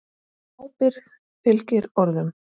Ábyrgð fylgir orðum.